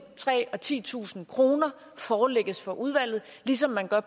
tre tusind og titusind kroner forelægges for udvalget ligesom man gør